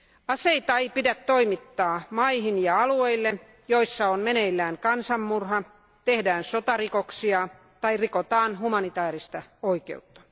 Aseita ei pidä toimittaa maihin ja alueille, joissa on meneillään kansanmurha, tehdään sotarikoksia tai rikotaan humanitaarista oikeutta.